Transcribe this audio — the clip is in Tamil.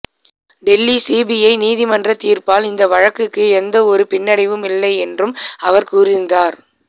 டெல்லி சிபிஐ நீதிமன்றத் தீர்ப்பால் இந்த வழக்குக்கு எந்த ஒரு பின்னடைவும் இல்லை என்றும் அவர் கூறியிருந்தார்